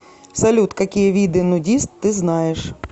салют какие виды нудист ты знаешь